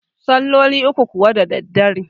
salloli uku kuwa da daddare